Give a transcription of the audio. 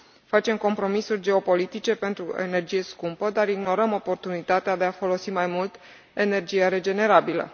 Facem compromisuri geopolitice pentru energie scumpă, dar ignorăm oportunitatea de a folosi mai mult energia regenerabilă.